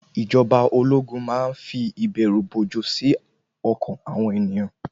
Ìjọba ológun má ń fi ìbẹ̀rù-bojo sí ọkàn àwọn ènìyàn.